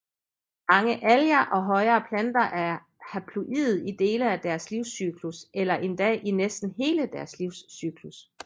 Mange alger og højere planter er haploide i dele af deres livscyklus eller endda i næsten hele deres livscyklus